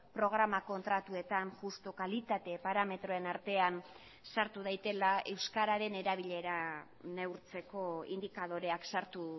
programa kontratuetan justu kalitate parametroen artean sartu daitela euskararen erabilera neurtzeko indikadoreak sartu